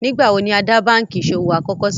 Nígbàwọ̀ ni á dá bankí iṣọwọ̀ àkọ́kọ̀ sílé?